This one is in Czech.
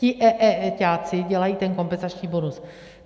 Ti eeťáci dělají ten kompenzační bonus.